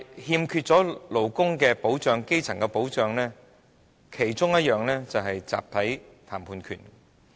但是，勞工和基層欠缺保障，其中一種就是"集體談判權"。